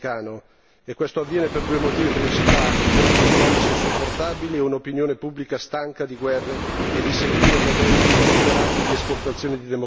E questo avviene per due motivi principali costi economici insopportabili e un'opinione pubblica stanca di guerre e di seguire modelli superati di esportazione di democrazia.